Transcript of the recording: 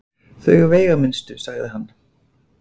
Þau veigaminnstu sagði hann.